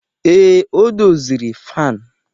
Ee, o doziri fanu